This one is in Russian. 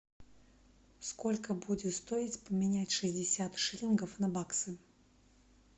сколько будет стоить поменять шестьдесят шиллингов на баксы